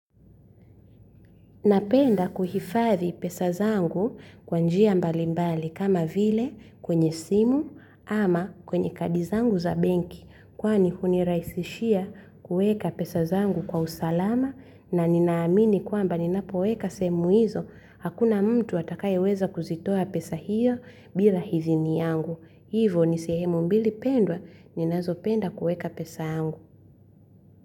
Napenda kuhifathi pesa zangu kwa njia mbali mbali kama vile kwenye simu ama kwenye kadi zangu za benki. Kwani huniraisishia kuweka pesa zangu kwa usalama na ninaamini kwamba ninapoweka sehemu hizo hakuna mtu atakayeweza kuzitoa pesa hizo bila hidhini yangu. Hivo, ni sehemu mbili pendwa ninazo penda kueka pesa yangu.